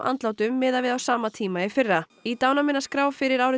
andlátum miðað við á sama tíma í fyrra í dánarmeinaskrá fyrir árið